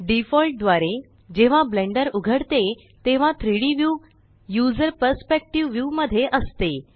default द्वारे जेव्हा Blender उघडते तेव्हा 3डी व्यू यूझर परस्पेक्टिव्ह व्यू मध्ये असते